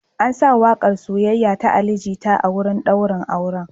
An sa waƙar “Soyayya” ta Ali Jita a wurin ɗaurin auren.